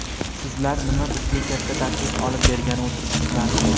Sizlar, nima bizga katta tashvish olib bergani o‘tiribsizlarmi?